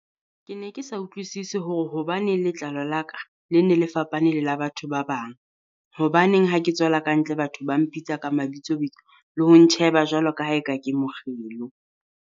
Ke ne ke sa utlwisise hore hobaneng letlalo la ka Ie ne le fapane le la batho ba bang, hobaneng ha ke tswela ka ntle batho ba mpitsa ka mabitsobitso le ho ntjheba jwalo ka haeka ke mokgelo.